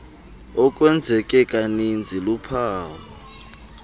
okwenzeke kaninzi luphawu